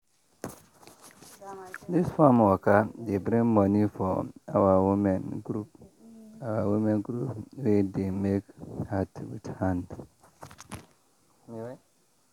this farm waka dey bring money for our women group our women group wey dey make hat with hand.